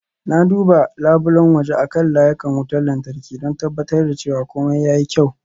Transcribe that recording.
Na duba labulen waje akan layukan wutar lantarki, don tabbatar da cewa komai ya yi kyau.